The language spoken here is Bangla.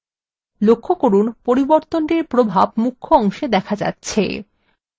লক্ষ্য করুন পরিবর্তনটির প্রভাব মুখ্য অংশে দেখা যাচ্ছে